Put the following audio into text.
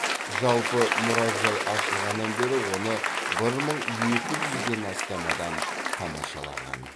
жалпы мұражай ашылғаннан бері оны бір мың екі жүзден астам адам тамашалаған